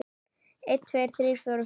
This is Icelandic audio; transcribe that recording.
einn. tveir. þrír. fjórir. fimm.